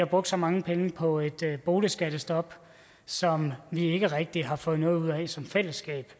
brugt mange penge på et boligskattestop som vi ikke rigtig har fået noget ud af som fællesskab